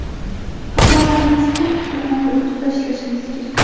Xatolarimiz ko‘p, ularni ustida ishlashimiz kerak.